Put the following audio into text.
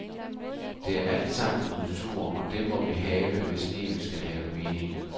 Det er altsammen kultur, og det må vi have, hvis livet skal have mening.